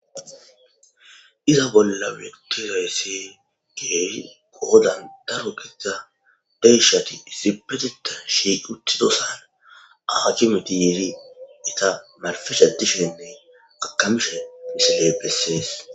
iza bolla wektiraysse geeri goodan daro gida deishati isipeteta shiiq uttidosana aacimeti yeiri ita malfesha dishenney akamishe fisi lee pessees